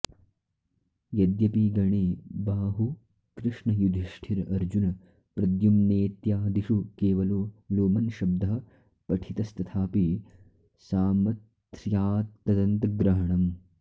यद्यपि गणे बाहु कृष्ण युधिष्ठिर अर्जुन प्रद्युम्नेत्यादिषु केवलो लोमन्शब्दः पठितस्तथापि सामथ्र्यात्तदन्तग्रहणम्